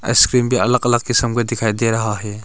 Ice cream भी अलग अलग क़िसम के दिखाई दे रहा है।